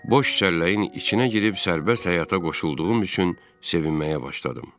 Boş çəlləyin içinə girib sərbəst həyata qoşulduğum üçün sevinməyə başladım.